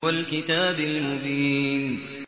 وَالْكِتَابِ الْمُبِينِ